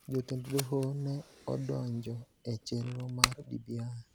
Jotend doho ne odonjo e chenro mar BBI.